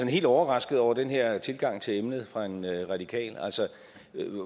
helt overrasket over den her tilgang til emnet fra en radikal altså